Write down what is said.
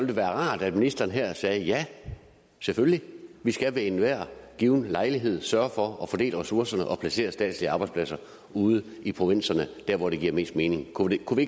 det være rart at ministeren her sagde ja selvfølgelig vi skal ved enhver given lejlighed sørge for at fordele ressourcerne og placere statslige arbejdspladser ude i provinserne der hvor det giver mest mening kunne kunne